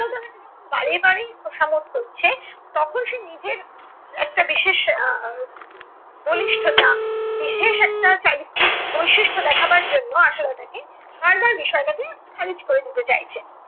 বারেবারেই তোষামোদ করছে, তখন সে নিজের একটা বিশেষ আহ বলিষ্ঠতা, বিশেষ একটা চারিত্রিক বৈশিষ্ট্য দেখাবার জন্য আশালতাকে বারবার বিষয়টাকে খারিজ করে দিতে চাইছে ।